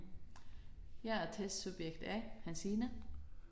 Jeg er testsubjekt A Hansine